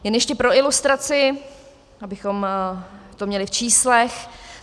Jen ještě pro ilustraci, abychom to měli v číslech.